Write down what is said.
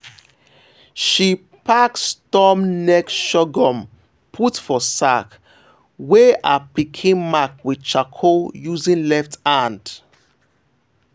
she pack storm neck sorghum put for sack wey her pikin mark with charcoal using left hand.